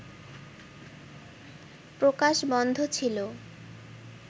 প্রকাশ বন্ধ ছিল